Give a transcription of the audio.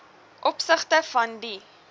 opsigte van die